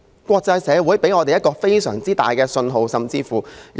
國際社會給了我們一個非常大的信號。